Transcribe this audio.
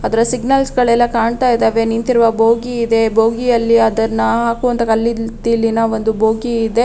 ಅದರ ಸಿಗ್ನಲ್ಸ್ ಗಳೆಲ್ಲಾ ಕಾಣ್ತಾ ಇದಾವೆ ನಿಂತಿರುವ ಭೋಗಿ ಇದೆ ಬೋಗಿಯಲ್ಲಿ ಅದನ್ನ ಹಾಕುವಂತಹ ಕಲ್ಲಿದ್ದಲಿನ ಒಂದು ಭೋಗಿ ಇದೆ.